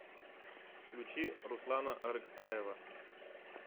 включи руслана арыкпаева